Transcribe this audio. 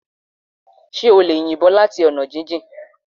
Ṣé o lè yin ìbọn láti ọ̀nà jíjìn